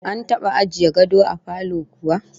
An taba ajiye gado a falo kuwa?